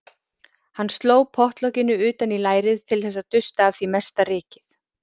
Hann sló pottlokinu utan í lærið til þess að dusta af því mesta rykið.